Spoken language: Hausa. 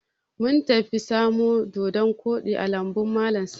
Mun tafi samo doɗon koɗi a lambun malam Sani.